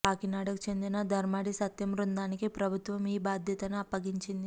కాకినాడకు చెందిన ధర్మాడి సత్యం బృందానికి ప్రభుత్వం ఈ బాధ్యతను అప్పగించింది